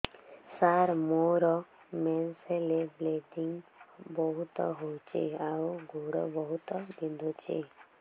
ସାର ମୋର ମେନ୍ସେସ ହେଲେ ବ୍ଲିଡ଼ିଙ୍ଗ ବହୁତ ହଉଚି ଆଉ ଗୋଡ ବହୁତ ବିନ୍ଧୁଚି